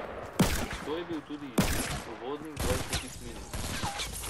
To je bil tudi izid uvodnih dvajsetih minut.